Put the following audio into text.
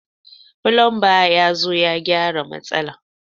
Fulumba ya zo ya gyaran matsalan.